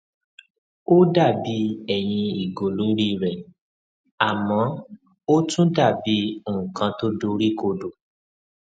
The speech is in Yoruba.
ó dà bí ẹyin ìgò lórí rè àmọ ó tún dà bí nkan tó dori kodo